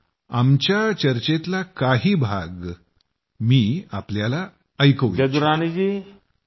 आमच्या चर्चेतला काही भाग तुम्हा मंडळींनीही ऐकावा असं मला वाटतंय